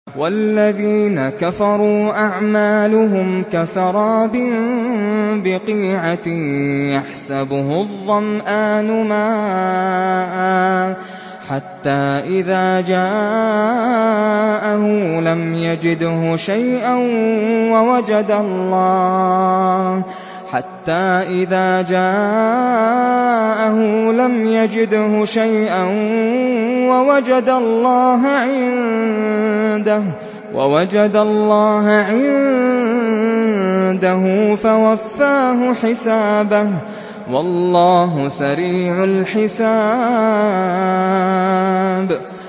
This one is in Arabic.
وَالَّذِينَ كَفَرُوا أَعْمَالُهُمْ كَسَرَابٍ بِقِيعَةٍ يَحْسَبُهُ الظَّمْآنُ مَاءً حَتَّىٰ إِذَا جَاءَهُ لَمْ يَجِدْهُ شَيْئًا وَوَجَدَ اللَّهَ عِندَهُ فَوَفَّاهُ حِسَابَهُ ۗ وَاللَّهُ سَرِيعُ الْحِسَابِ